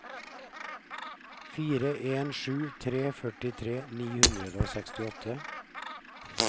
fire en sju tre førtitre ni hundre og sekstiåtte